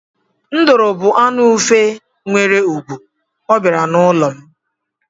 Nduru bú anụ ufe nwere ùgwù, ọ bịara n'ụlọ m.